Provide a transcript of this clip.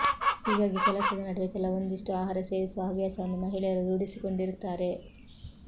ಹೀಗಾಗಿ ಕೆಲಸದ ನಡುವೆ ಕೆಲವೊಂದಿಷ್ಟು ಆಹಾರ ಸೇವಿಸುವ ಹವ್ಯಾಸವನ್ನು ಮಹಿಳೆಯರು ರೂಢಿಸಿಕೊಂಡಿರುತ್ತಾರೆ